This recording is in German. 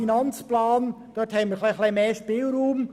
Beim AFP haben wir einen grösseren Spielraum.